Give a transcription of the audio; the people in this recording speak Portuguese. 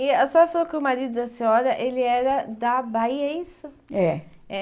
E a senhora falou que o marido da senhora, ele era da Bahia, é isso? É. É.